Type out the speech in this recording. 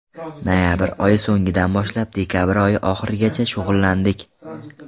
Noyabr oyi so‘ngidan boshlab dekabr oyi oxirigacha shug‘ullandik.